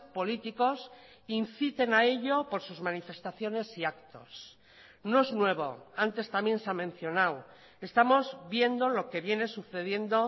políticos inciten a ello por sus manifestaciones y actos no es nuevo antes también se ha mencionado estamos viendo lo que viene sucediendo